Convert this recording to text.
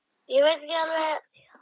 Það er ekki langt héðan.